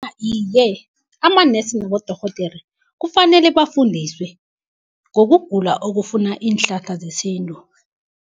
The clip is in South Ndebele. Iye, amanesi nabodorhodere kufanele bafundiswe ngokugula okufuna iinhlahla zesintu.